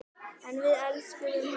En við elskuðum hana öll.